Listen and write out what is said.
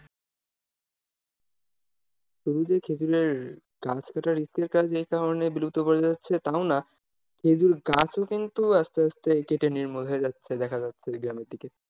শুধু যে খেঁজুরের গাছ কাটা risk এর কাজ সেই কারণে বিলুপ্ত হয়ে যাচ্ছে তাও না, খেঁজুর গাছও কিন্তু আসতে আসতে কেটে নির্মূল হয়ে যাচ্ছে দেখা যাচ্ছে গ্রামের দিকে।